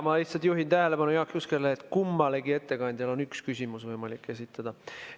Ma lihtsalt juhin Jaak Juske tähelepanu sellele, et kummalegi ettekandjale on võimalik esitada üks küsimus.